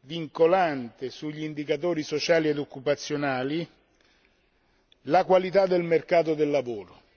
vincolante sugli indicatori sociali e occupazionali e la qualità del mercato del lavoro.